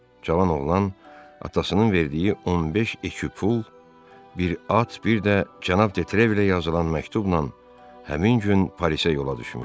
Cavan oğlan atasının verdiyi 15 ekü pul, bir at, bir də cənab Detrevlə yazılan məktubla həmin gün Parisə yola düşmüşdü.